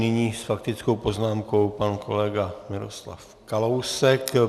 Nyní s faktickou poznámkou pan kolega Miroslav Kalousek.